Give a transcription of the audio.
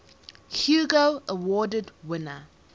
hugo award winner